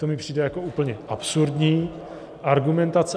To mi přijde jako úplně absurdní argumentace.